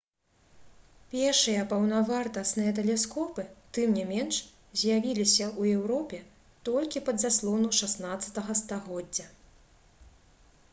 пешыя паўнавартасныя тэлескопы тым не менш з'явіліся ў еўропе толькі пад заслону 16-га стагоддзя